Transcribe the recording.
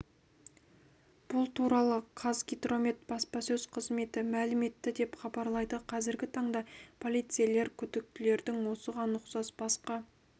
бұл туралы қазгидромет баспасөз қызметі мәлім етті деп хабарлайды қазіргі таңда полицейлер күдіктілердің осыған ұқсас басқа